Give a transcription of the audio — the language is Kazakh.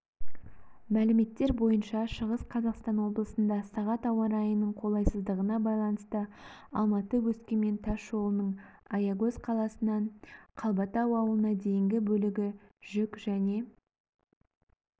мәліметтер бойынша шығыс қазақстан облысында сағат ауа райының қолайсыздығына байланысты алматы-өскемен тас жолының аягөз қаласынан қалбатау ауылына дейінгі бөлігі жүк және